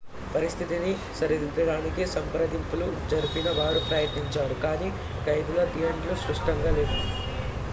పరిస్థితిని సరిదిద్దడానికి సంప్రదింపులు జరిపిన వారు ప్రయత్నించారు కానీ ఖైదీల డిమాండ్లు స్పష్టంగా లేవు